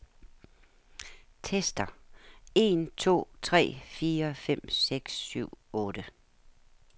Tester en to tre fire fem seks syv otte.